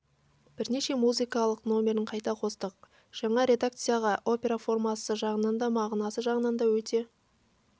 бірнеше музыкалық номерін қайта қостық жаңа редакциядағы опера формасы жағынан да мағынасы жағынан да өте